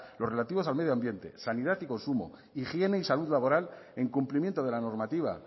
lo relativos al medio ambiente sanidad y consumo higiene y salud laboral en cumplimiento de la normativa